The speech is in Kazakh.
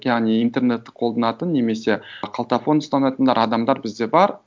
яғни интернетты қолданатын немесе қалтафон ұстанатындар адамдар бізде бар